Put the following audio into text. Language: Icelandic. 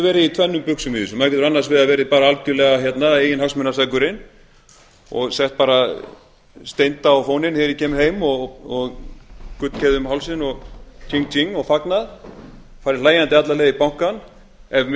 verið í tvennum buxum í þessu maður getur annars vegar verið bara algerlega eiginhagsmunaseggurinn og sett bara stend á þegar ég kem heim og gullkeðju um hálsinn og king king og fagnað farið hlæjandi alla leið í bankann ef